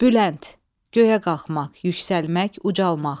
Bülənd, göyə qalxmaq, yüksəlmək, ucalmaq.